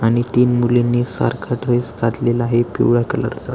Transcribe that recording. आणि ती मुलीनी सारखा ड्रेस घातलेला आहे पिवळ्या कलर चा.